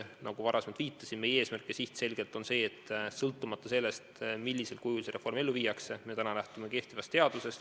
Nagu varasemalt viitasin, on meie eesmärk ja siht selgelt see, et sõltumata sellest, millisel kujul see reform ellu viiakse, lähtume täna kehtivast seadusest.